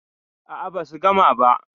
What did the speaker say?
A'a, basu gama ba.